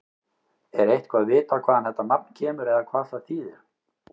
Er eitthvað vitað hvaðan þetta nafn kemur eða hvað það þýðir?